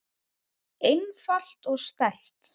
einfalt og sterkt.